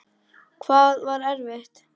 Hvað var erfitt?